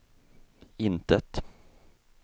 intet